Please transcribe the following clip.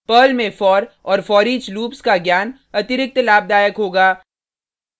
Perl में for और foreach loops का ज्ञान अतिरिक्त लाभदायक होगा